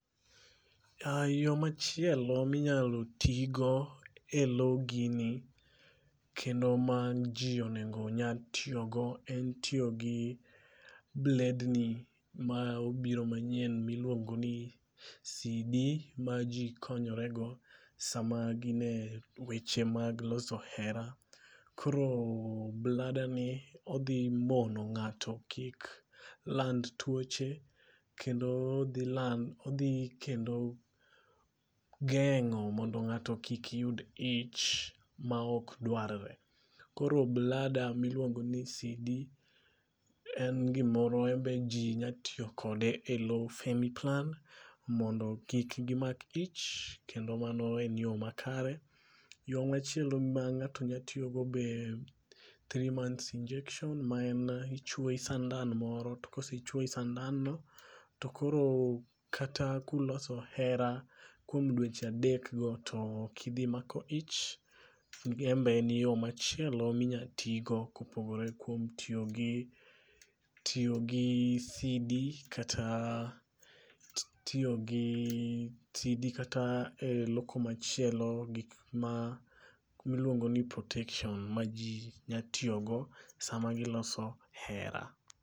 Yo machielo minyalo tigo e lo gini kendo ma ji onego nya tiyogo en tiyo gi bledni ma obiro manyien miluongo ni CD ma ji konyorego sama gin e weche mag loso hera. Koro bladani odhi mono ng'ato kik land tuoche, kendo odhi geng'o mondo ng'ato kik yud ich maok dwarre. Koro blada ma iluongo ni CD en gimoro embe ji nya tiyo kode e lo femiplan mondo kik gimak ich kendo mano en yo makare. Yo machielo ma ng'ato nya tiyogo be three months injection ma en ichwoyi sandan moro to kosechwoyi sandanno to koro kata kuloso hera kuom dweche adekgo to okidhi mako ich embe en yo machielo minya tigo kopogore kuom tiyogi CD kata e lo komachielo gikma iluongo ni protection ma ji nya tiyogo sama giloso hera.